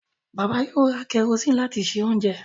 Bàbá yóò ra kẹrosíìnì láti se oúnjẹ